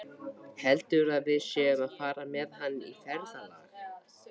Heldurðu að við séum að fara með hann í ferðalag?